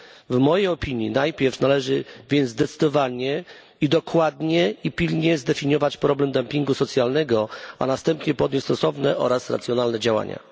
W mojej opinii najpierw należy zdecydowanie, dokładnie i pilnie zdefiniować problem dumpingu socjalnego, a następnie podjąć stosowne oraz racjonalne działania.